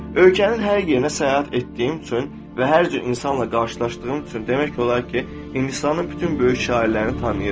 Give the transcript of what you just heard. Ölkənin hər yerinə səyahət etdiyim üçün və hər cür insanla qarşılaşdığım üçün demək olar ki, Hindistanın bütün böyük şairlərini tanıyıram.